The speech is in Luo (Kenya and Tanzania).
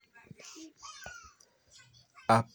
Apenjo, Abigail Awino en ng'a?